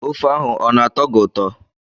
Ofe ahụ ọ na-atọ gị ụtọ?